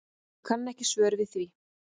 Ég kann ekki svör við því.